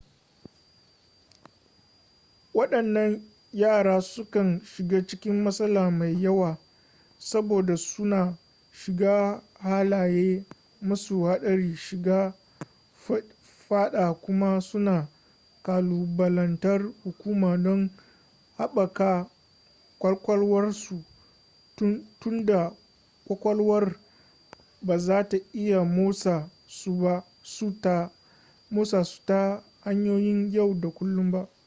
waɗannan yara sukan shiga cikin matsala mai yawa saboda suna shiga halaye masu haɗari shiga faɗa kuma suna ƙalubalantar hukuma don haɓaka ƙwaƙwalwarsu tunda kwakwalwar ba za ta iya motsa su ta hanyoyin yau da kullun ba